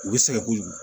U bɛ sɛgɛn kojugu